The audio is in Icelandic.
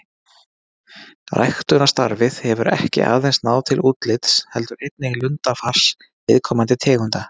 Ræktunarstarfið hefur ekki aðeins náð til útlits heldur einnig lundafars viðkomandi tegunda.